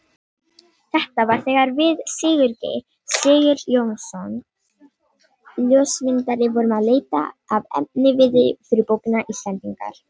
Þetta var þegar við Sigurgeir Sigurjónsson ljósmyndari vorum að leita að efniviði fyrir bókina Íslendingar.